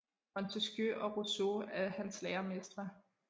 Montesquieu og Rousseau er hans læremestre